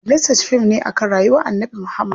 The Message fim ne akan rayuwar Annabi Muhammad.